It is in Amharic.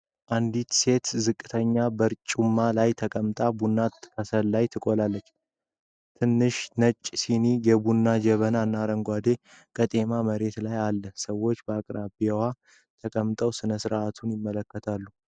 አንዲት ሴት ዝቅተኛ በርጩማ ላይ ተቀምጣ ቡና በከሰል ላይ ትቆላለች። ትናንሽ ነጭ ሲኒዎች፣ የቡና ጀበና እና አረንጓዴ ቄጤማ መሬት ላይ አለ። ሰዎች በአቅራቢያው ተቀምጠው ሥነ ሥርዓቱን ይመለከታሉ።